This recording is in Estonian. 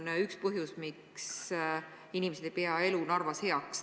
See on üks põhjus, miks inimesed ei pea elu Narvas heaks.